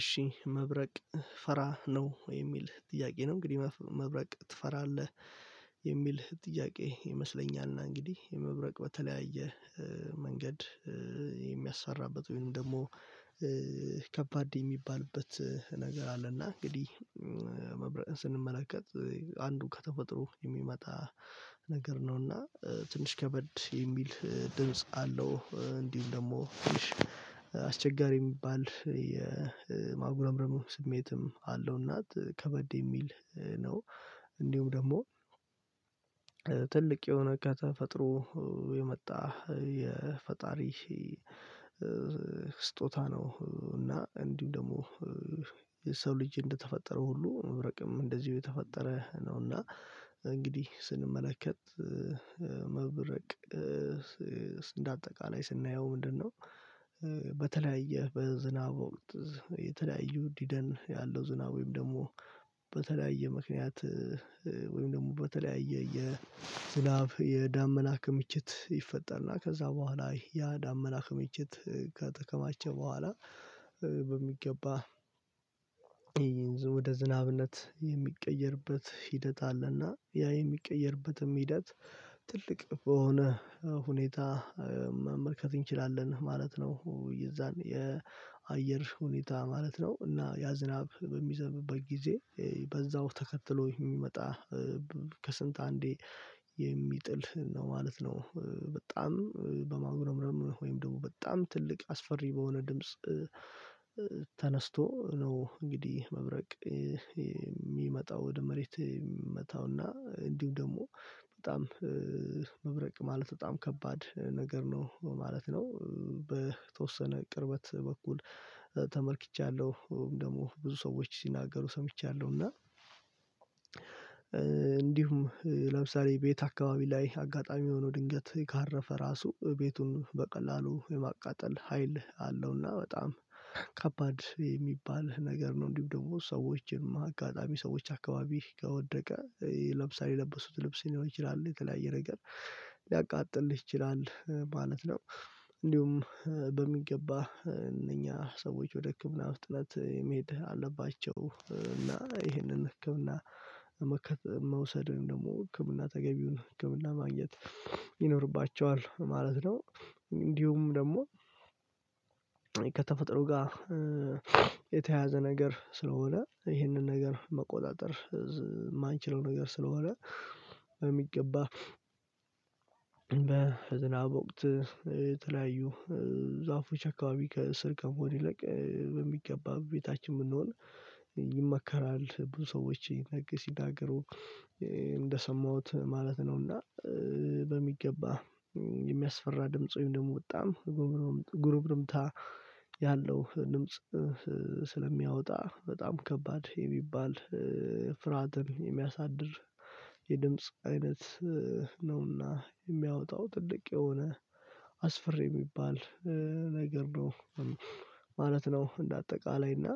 እሺ መብረቅ ፈራ ነው የሚል ጥያቄ ነው እንግዲህ መብረቅ ትፈራለህ? የሚል ጥያቄ ይመስለኛል እና እንግዲህ መብረቅ በተለያየ መንገድ የሚያስፈራበት ወይም ደግሞ ከባድ የሚባልበት ነገር አለና እንግዲህ መብረቅን ስንመለከት አንዱ ከተፈጥሮ የሚመጣ ነገር ነዉና ትንሽ ከበድ የሚል ድምጽ አለው። አስቸጋሪ የሚባል የማጉረምረም ስሜትም አለው እና ከበድ የሚል ነው። እንዲሁም ደግሞ ትልቅ የሆነ ከተፈጥሮ የመጣ የፈጣሪ ስጦታ ነው። እና እንዲሁም ደግሞ የሰው ልጅ እንደተፈጠረ ሁሉ መብረቅም እንደዚሁ የተፈጠረ ነውና እንግዲህ ስንመለከት መብረቅ እንደ አጠቃላይ ስናየው ምንድነው? በተለያየ በዝናብ ወቅት የተለያዩ ዝናብ ወይም በተለያየ ምክንያት ወይም ደግሞ የተለያየ የዝናብ የዳመና ክምችት ይፈጠርና ከዛ በኃላ ያደመና ክምችት ከተከማቸ ቦኀላ በሚገባ ወደ ዝናብነት የሚቀየርበት ሂደት አለና ያ የሚቀየርበትም ሂደት ትልቅ በሆነ ሁኔታ መመልከት እንችላለን ማለት ነው። የዛን የአየር ሁኔታ ማለት ነው። እና ያ ዝናብ በሚዘንብበት ጊዜ በዛው ተከትሎ የሚመጣ ከስንት አንዴ የሚጥል ነው ማለት ነው። በጣም በማጉረምረም ወይም ደግሞ በጣም ትልቅ አስፈሪ በሆነ ድምጽ ተነስቶ ነው። እንግዲህ መብረቅ የሚመጣው ወደ መሬት የሚመታው እና እንዲሁም ደግሞ በጣም መብረቅ ማለት በጣም ከባድ ነገር ነው ማለት ነው። በተወሰነ ቅርበት በኩል ተመልክቻለሁ ወይም ደግሞ ብዙ ሰዎች ሲናገሩ ሰምቻለሁ እና እንዲሁም ለምሳሌ ቤት አከባቢ ላይ አጋጣሚ ሆኖ ድንገት ካረፈ ራሱ ቤቱን በቀላሉ የማቃጠል ሀይል አለው ና በጣም ከባድ የሚባል ነገር ነው። እንዲሁም ደግሞ ሰዎች አጋጣሚ ሰዎች አከባቢ ከወደቀ ለምሳሌ የለበሱት ልብስ ሊኖር ይችላል የተለያየ ነገር ሊያቃጥል ይችላል ማለት ነው። እንዲሁም በሚገባ እነኛ ሰዎች ወደ ህክምና በፍጥነት መሄድ አለባቸው እና ይሄንን ህክምና መከታተል መውሰድ ወይም ደግሞ ህክምና ተገቢውን ህክምና ማግኘት ይኖርባቸዋል ማለት ነው። እንዲሁም ደግሞ ከተፈጥሮ ጋራ የተያየዘ ነገር ስለሆነ ይሄንን ነገር መቆጣጠር የማንችለው ነገር ስለሆነ በሚገባ በዝናብ ወቅት የተለያዩ ዛፎች አከባቢ ስር ከመሆን ይልቅ በሚገባ ቤታችን ብንሆን ይመከራል ብዙ ሰዎች ሲናገሩ እንደሰማሁት ማለት ነውና። በሚገበባ የሚያስፈራ ድምጽ ወይም ደግሞ በጣም ጉርምርምታ ያለው ድምጽ ስለሚያወጣ በጣም ከባድ የሚባል ፍርሃትን የሚያሳድር የድምጽ አይነት ነውና የሚያወጣው ትልቅ የሆነ አስፈሪ የሚባል ነገርነው ማለት ነው። እንደ አጠቀላይ እና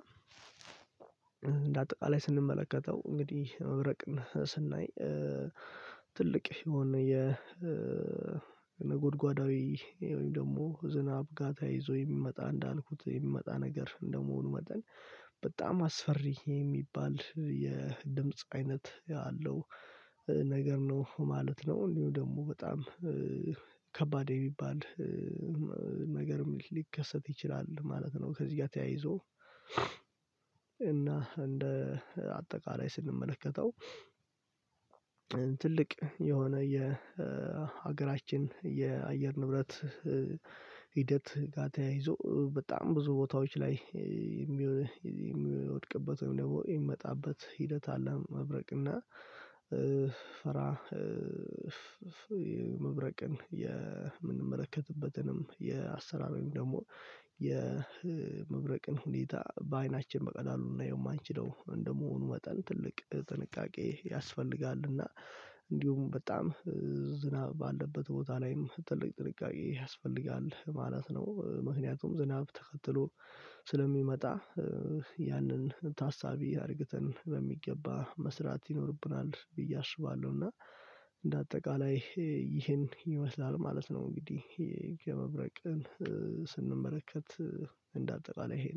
እንደ አጠቃላይ ስንመለከተው እንግዲህ መብረቅን ስናይ ትልቅ የሆነ የ ነጎድጓዳዌ ወይም ደግሞ ዝናብ ጋራ ተያይዞ የሚመጣ እንዳልኩት የሚመጣ ነገር እንደመሆኑ መጠን በጣም አስፈሪ የሚባል የድምጽ አይነት አለው። ነገር ነው ማለት ነው ወይም ደግሞ በጣም ከባድ የሚባል ነገርም ሊከሰት ይችላል ማለት ነው። ከዚ ጋራ ተያይዞ እና እንደ አጠቃላይ ስንመለከተው ትልቅ የሆነ የሀገራችን የአየር ንብረት ሂደት ጋራ ተያይዞ በጣም ብዙ ቦታዎች ላይ የሚወድቅበት ወይም ደግሞ የሚመጣበት ሂደት አለ። መብረቅ እና ፈራ መብረቅን የምንመለከትበትንም የአሰራር ወይም ደግሞ የመብረቅን ሁኔታ በአይናችን በቀላሉ ልናየው የማንችለው እንደመሆኑ መጠን ትልቅ ጥንቃቄ ያስፈልጋል እና እንዲሁም በጣም ዝናብ ባለበት ቦታ ላይም ትልቅ ጥንቃቄ ያስፈልጋል ማለት ነው። ምክንያቱም ዝናብ ተከትሎ ስለሚመጣ ያንን ታሳቢ አርግተን በሚገባ መስራት ይይኖርብናል ብዬ አስባለው እና እንደ አጠቃላይ ይሄን ይመስላል ማለት ነው። እንግዲህ የመብረቅን ስንመለከት እንደ አጠቃላይ ይሄ ነው